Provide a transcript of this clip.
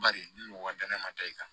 Bari ni mɔgɔ danaya ma taa i kan